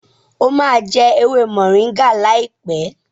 o má jé ewé Moringa láìpé!